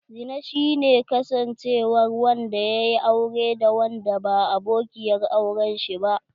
Zina shi ne kusancewar wanda yaƴi aure da wanda ba abokiyar auren shi ba.